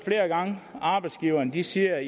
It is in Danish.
arbejdsgiverne sige at